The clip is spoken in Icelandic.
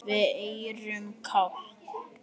Við erum kát.